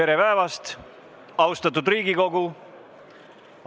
Tere päevast, austatud Riigikogu!